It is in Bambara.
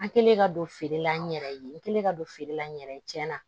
An kɛlen ka don feere la n yɛrɛ ye n kɛlen ka don feere la n yɛrɛ ye tiɲɛnna